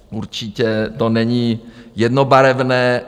Určitě to není jednobarevné.